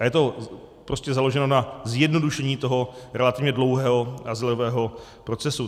A je to prostě založeno na zjednodušení toho relativně dlouhého azylového procesu.